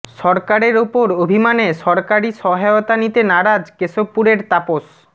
সরকারের ওপর অভিমানে সরকারি সহায়তা নিতে নারাজ কেশবপুরের তাপস